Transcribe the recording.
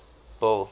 bill